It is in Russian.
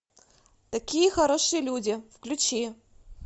такие хорошие люди включи